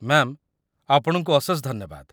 Ma'am, ଆପଣଙ୍କୁ ଅଶେଷ ଧନ୍ୟବାଦ!